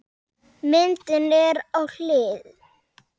Myndin er á hlið.